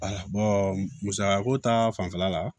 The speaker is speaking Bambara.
musakako ta fanfɛla la